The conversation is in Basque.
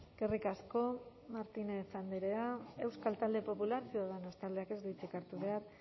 eskerrik asko martínez andrea euskal talde popular ciudadanos taldeak ez du hitzik hartu behar